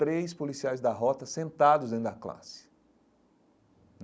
três policiais da rota sentados dentro da classe.